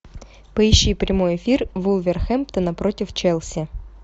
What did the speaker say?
поищи прямой эфир вулверхэмптона против челси